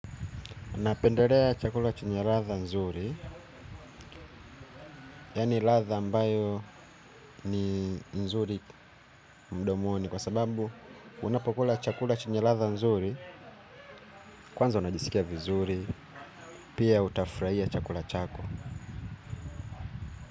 Napendelea chakula chenye ladha nzuri, yaani ladha ambayo ni nzuri mdomoni kwa sababu unapokula chakula chenye ladha nzuri, kwanza unajisikia vizuri, pia utafurahia chakula chako.